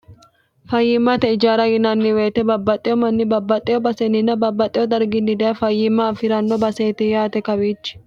fayyimmate ijaara yinanni woyite babbaxxeyo manni babbaxxeyo baseninna babbaxxeyo darginni daya fayyimma afi'ranno baseeti yaate kawiichi